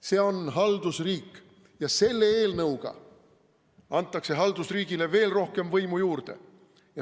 See on haldusriik ja selle eelnõuga antakse haldusriigile veel rohkem võimu.